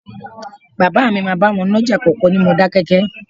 Bàbá mi máa bá wọn nájà kòkó ní Modákẹ́kẹ́